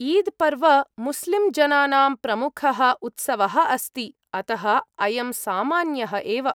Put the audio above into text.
ईद्-पर्व मुस्लिम् जनानां प्रमुखः उत्सवः अस्ति, अतः अयं सामान्यः एव।